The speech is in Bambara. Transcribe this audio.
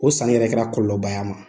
O sanni yɛrɛ kɛra kɔlɔlɔba y'a ma